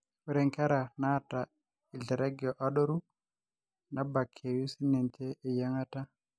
ore nkera naata lterege adoru naabkeyiu sininche eyiangata